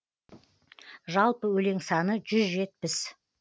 жалпы өлең саны жүз жетпіс